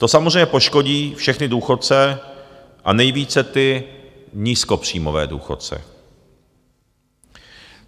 To samozřejmě poškodí všechny důchodce a nejvíce ty nízkopříjmové důchodce.